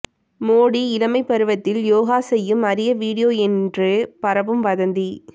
மோடி இளமைப் பருவத்தில் யோகா செய்யும் அரிய வீடியோ என்று பரவும் வதந்தி